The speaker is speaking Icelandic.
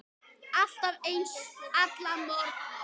Alltaf eins, alla morgna.